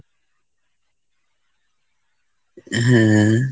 হম